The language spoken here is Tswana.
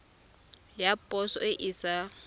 ya poso e e sa